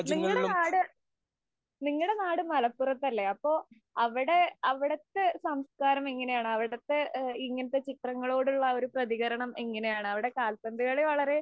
നിങ്ങടെ നാട് മലപ്പുറത്ത് അല്ലേ. അപ്പൊ അവിടെ അവിടത്തെ സംസ്കാരം എങ്ങനെയാണ്? അവിടത്തെ ഇങ്ങനത്തെ ചിത്രങ്ങളോടുള്ള ഒരു പ്രതീകരണം എങ്ങനെയാണ്? അവിടെ കാല്‍പ്പന്തു കളി വളരെ